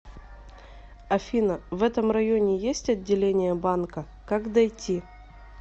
афина в этом районе есть отделение банка как дойти